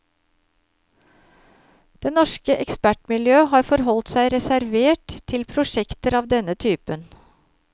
Det norske ekspertmiljø har forholdt seg reservert til prosjekter av denne typen.